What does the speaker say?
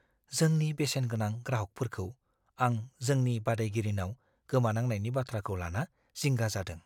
जोंनि बेसेनगोनां ग्राहकफोरखौ आं जोंनि बादायगिरिनाव गोमानांनायनि बाथ्राखौ लाना जिंगा जादों।